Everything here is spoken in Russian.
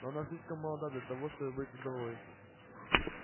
но она слишком молода для того чтобы быть вдовой